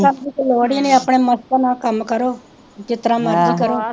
ਤੂੰ ਤੜੱਕ ਦੀ ਤਾਂ ਲੋੜ ਹੀ ਨਹੀਂ ਆਪਣੇ ਮਸਤਾਂ ਨਾਲ ਕੰਮ ਕਰੋ ਜਿਸ ਤਰ੍ਹਾਂ ਮਰਜ਼ੀ ਕਰੋ